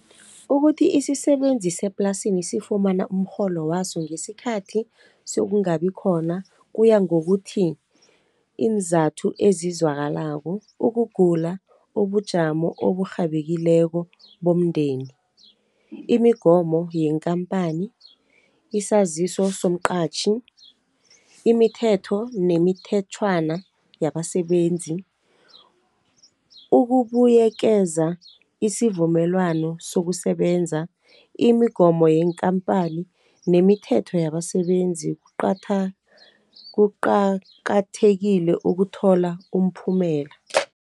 Ukuthi isisebenzi seplasini sifumana umrholo waso ngesikhathi sekungabi khona, kuya ngokuthi, iinzathu ezizwakalako ukugula, ubujamo oburhabekileko bomndeni, imigomo yenkampani, isaziso somqatjhi, imithetho nemithetjhwana yabasebenzi, ukubuyekeza isivumelwano sokusebenza, imigomo yeenkampani, nemithetho yabasebenzi. Kuqakathekile ukuthola umphumela.